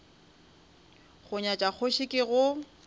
go nyatša kgoši ke go